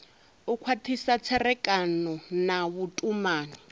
u khwathisa tserekano na vhutumani